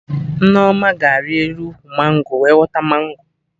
Nneoma ga-ari elu ụkwụ mango wee ghọta mango